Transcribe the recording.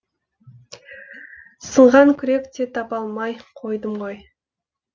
сынған күрек те таба алмай қойдым ғой